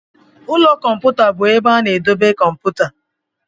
Ụlọ kọmputa bụ ebe a na-edebe kọmputa.